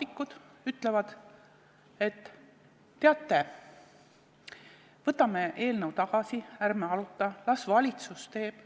liikmed ütlevad, et teate, võtame eelnõu tagasi, ärme arutame, las valitsus teeb.